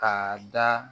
K'a da